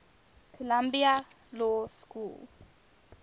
columbia law school